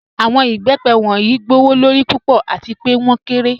Awọn ibẹ́pẹ wọnyí gbowọ́lọ́rí púpọ̀ àti pẹ̀ wọn kẹ́rẹ̀.